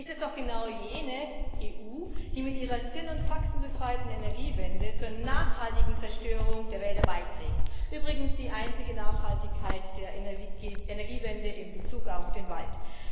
Es ist doch genau jene EU, die mit ihrer sinn und faktenbefreiten Energiewende zur nachhaltigen Zerstörung der Wälder beiträgt übrigens die einzige Nachhaltigkeit der Energiewende in Bezug auf den Wald.